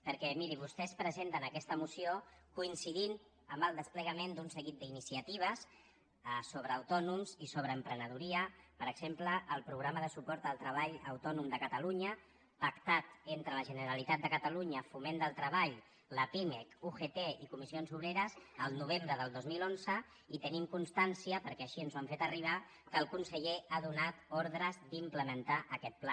perquè miri vostès presenten aquesta moció coincidint amb el desplegament d’un seguit d’iniciatives sobre autònoms i sobre emprenedoria per exemple el programa de suport al treball autònom de catalunya pactat entre la generalitat de catalunya foment del treball la pimec ugt i comissions obreres el novembre del dos mil onze i tenim constància perquè així ens ho han fet arribat que el conseller ha donat ordres d’implementar aquest pla